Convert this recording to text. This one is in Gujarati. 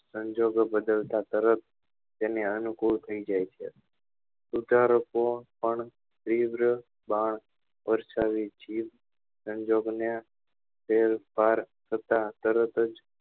સંજોગો બદલતા તરત તેને અનુકુળ થઇ જાય છે સ્વીકારકો પણ તીવ્ર બાહ વરસાવે જીભ સંજોગ ને તેમ થતા તરત જ